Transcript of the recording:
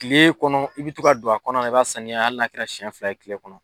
Kile kɔnɔ i bɛ to ka don a kɔnɔna na i b'a sanuya hali n'a kɛra siyɛn fila ye kile kɔnɔ.